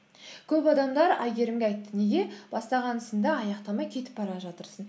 көп адамдар әйгерімге айтты неге бастаған ісіңді аяқтамай кетіп бара жатырсың